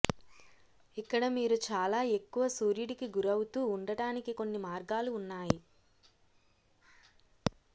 ఇక్కడ మీరు చాలా ఎక్కువ సూర్యుడికి గురవుతూ ఉండటానికి కొన్ని మార్గాలు ఉన్నాయి